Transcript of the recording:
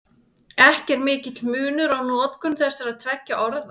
Ekki er mikill munur á notkun þessara tveggja orða.